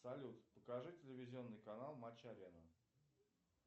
салют покажи телевизионный канал матч арена